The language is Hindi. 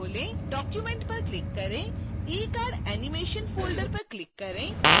document पर क्लिक करें ecardanimation folder पर क्लिक करें